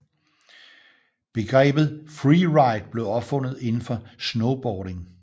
Begrebet freeride blev opfundet indenfor snowboarding